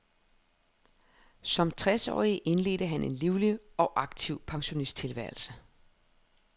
Som tres årig indledte han en livlig og aktiv pensionisttilværelse.